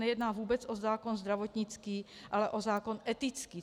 Nejedná se o zákon zdravotnický, ale o zákon etický.